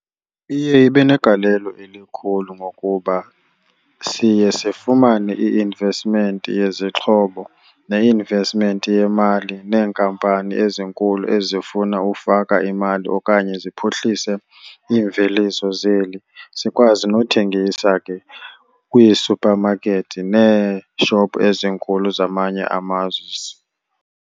Iye ibe negalelo elikhulu ngokuba siye sifumane i-investment yezixhobo ne-investment yemali neenkampani ezinkulu ezifuna ufaka imali okanye ziphuhlise iimveliso zeli, sikwazi nothengisa ke kwiisuphamakethi neeshopu ezinkulu zamanye amazwe.